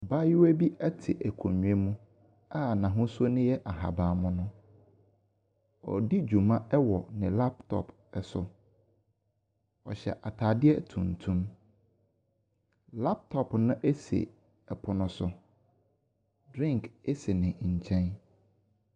Abaayewa bi ɛte akonwa mu a n'ahosuo no yɛ ahaban mono. Ɔredi dwuma wɔ ne laptop so. Ɔhyɛ ataadeɛ tuntum, laptop no esi ɛpono so. Drink esi ne nkyɛn.